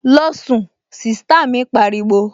Losun! Sista mi pariwo